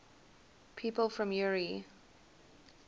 people from eure